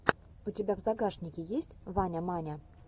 у тебя в загашнике есть ваня маня